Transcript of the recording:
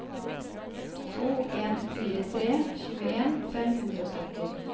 to en fire tre tjueen fem hundre og sytti